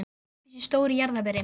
Stakk upp í sig stóru jarðarberi.